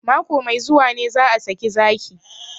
Mako mai zuwa ne za a saki zaki